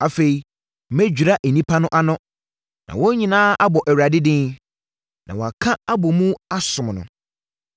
“Afei mɛdwira nnipa no ano, na wɔn nyinaa abɔ Awurade din na wɔaka abɔ mu asom no.